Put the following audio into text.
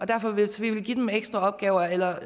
derfor hvis vi vil give dem ekstra opgaver eller